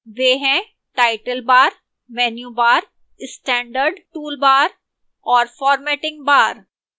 वे हैं title bar menu bar standard toolbar और formatting bar